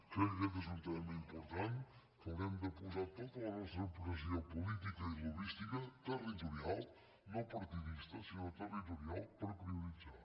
crec que aquest és un tema important que haurem de posar tota la nostra pressió política i lobbística territorial no partidista sinó territorial per prioritzar